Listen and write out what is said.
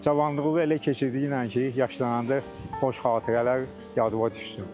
Cavanlığını elə keçirdiyinə ki, yaşlananda xoş xatirələr yadına düşsün.